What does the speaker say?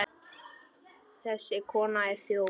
Þessi kona er þjófur.